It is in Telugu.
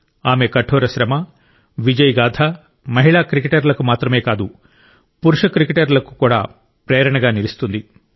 ఆమె కఠోర శ్రమ విజయ గాథ మహిళా క్రికెటర్లకు మాత్రమే కాదు పురుష క్రికెటర్లకు కూడా ప్రేరణగా నిలుస్తుంది